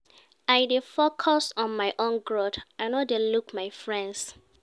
I dey focus on my own growth, I no dey look my friends.